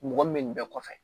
Mɔgɔ min bɛ nin bɛɛ kɔfɛ